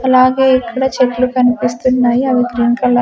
అలాగే ఇక్కడ చెట్లు కనిపిస్తున్నాయి అవి గ్రీన్ కలర్ .